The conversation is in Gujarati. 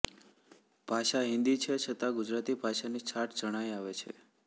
ભાષા હિન્દી છે છતા ગુજરાતિ ભાષાની છાંટ જણાય આવે છે